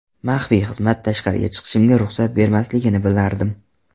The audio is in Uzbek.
Maxfiy xizmat tashqariga chiqishimga ruxsat bermasligini bilardim.